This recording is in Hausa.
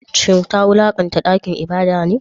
Shin ta wulakanta dakin ibada ne?